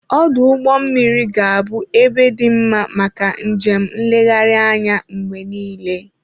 Ọdụ ụgbọ mmiri ga-abụ ebe dị mma maka njem nlegharị anya mgbe niile.